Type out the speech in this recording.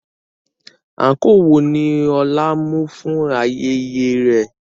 Àǹkóò wo ni Ọlá mú fún ayẹyẹ rẹ̀?